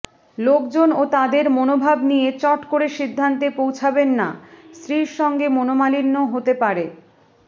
লোকজন ও তাদের মনোভাব নিয়ে চট করে সিদ্ধান্তে পৌঁছাবেন না স্ত্রীর সঙ্গে মনোমালিন্য হতে পারে